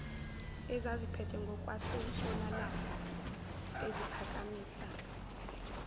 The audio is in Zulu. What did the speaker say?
ezaziphethwe ngokwasentshonalanga eziphakamisa